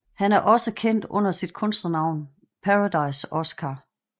Han er også kendt under sit kunstnernavn Paradise Oskar